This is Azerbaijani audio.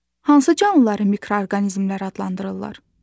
Hansı canlıları mikroorqanizmlər adlandırırlar?